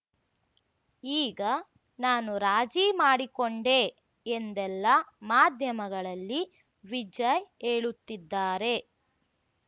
ಈಗ ನಾನು ರಾಜಿ ಮಾಡಿಕೊಂಡೆ ಎಂದೆಲ್ಲಾ ಮಾಧ್ಯಮಗಳಲ್ಲಿ ವಿಜಯ್‌ ಹೇಳುತ್ತಿದ್ದಾರೆ